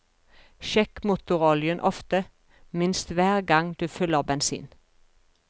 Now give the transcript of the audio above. Sjekk motoroljen ofte, minst hver gang du fyller bensin.